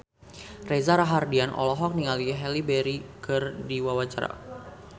Reza Rahardian olohok ningali Halle Berry keur diwawancara